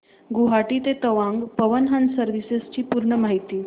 गुवाहाटी ते तवांग पवन हंस सर्विसेस ची पूर्ण माहिती